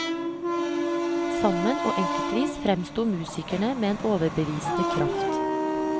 Sammen og enkeltvis fremsto musikerne med en overbevisende kraft.